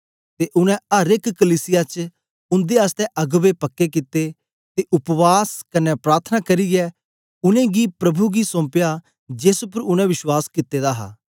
ते उनै अर एक कलीसिया च उंदे आसतै अगबें पक्के कित्ते ते उपवास कन्ने प्रार्थना करियै उनेंगी गी प्रभु गी सोंपया जेस उपर उनै विश्वास कित्ता दा हा